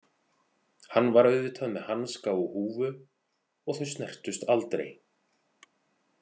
Hann var auðvitað með hanska og húfu og þau snertust aldrei.